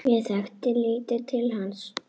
Ég þekkti lítið til hans.